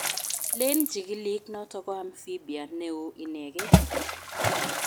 Leen chikilik noto ko amphibia neoo inegei